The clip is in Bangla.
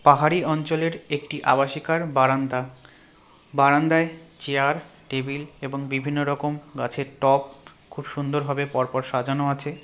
পাহাড়ি অঞ্চলের একটি আবাসিকার বারান্দা বারান্দায় চেয়ার টেবিল এবং বিভিন্নরকম গাছের টব খুব সুন্দরভাবে পরপর সাজানো আছে .